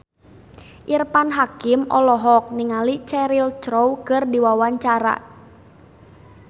Irfan Hakim olohok ningali Cheryl Crow keur diwawancara